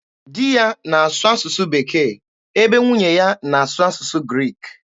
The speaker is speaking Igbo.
Di ya na-asụ asụsụ Bekee ebe nwunye ya na-asụ asụsụ Greek.